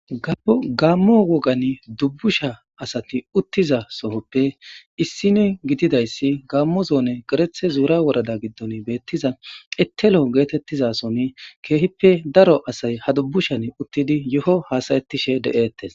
gabu gaammo wogan dubbusha asati uttiza sohoppe issini gididayssi gaammo zoone gerethe zuura worada giddon beettiza ettelo geetettizason keehippe daro asay ha dubbushan uttidi yo7o haasayetishe de7eettes